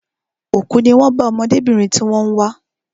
Òkú ní wón bá ọmọdébìnrin tí wón ń wá